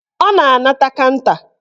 Ọ na-anata kanta